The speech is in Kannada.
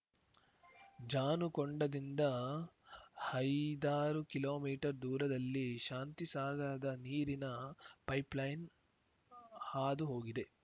ಜಾನುಕೊಂಡದಿಂದ ಹೈದಾರು ಕಿಮೀ ದೂರದಲ್ಲಿ ಶಾಂತಿಸಾಗರದ ನೀರಿನ ಪೈಪ್‌ಲೈನ್‌ ಹಾದು ಹೋಗಿದೆ